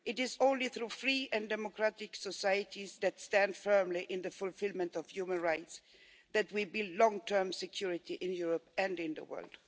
It is only through free and democratic societies that stand firm on the fulfilment of human rights that we will build long term security in Europe and in the world.